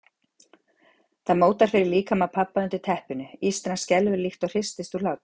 Það mótar fyrir líkama pabba undir teppinu, ístran skelfur líkt og hristist úr hlátri.